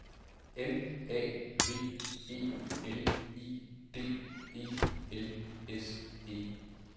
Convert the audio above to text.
M A V E L I D E L S E